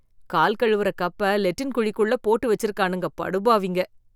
கால் கழுவுற கப்ப லெட்டின் குழிக்குள்ள போட்டு வெச்சிருக்கானுங்க படுபாவிங்க